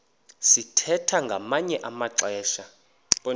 sithwethwa ngamanye amaxesha